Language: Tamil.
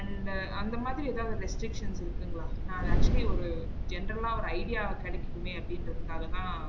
and அந்த மாதிரி எதாவது restrictions இருக்குங்களா? நா அத actually ஒரு general ஆ ஒரு idea கெடைகட்டுமே அப்டிங்குறதுக்காக தான்